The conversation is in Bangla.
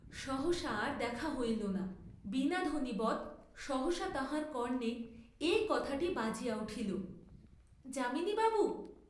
সহসা আর দেখা হইল না, বীণাধ্বনিবৎ সহসা তাঁহার কর্ণে এই কথাটি বাজিয়া উঠিল যামিনী বাবু!